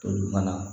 Toli fana